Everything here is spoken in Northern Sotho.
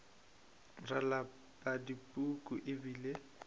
ra lapa dipuku e bile